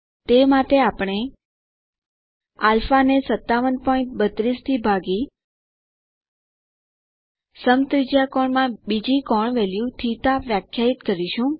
તે માટે આપણે α5732 કરી સમત્રિજ્યાકોણમાં બીજી કોણ વેલ્યુ θ વ્યાખ્યાયિત કરીશું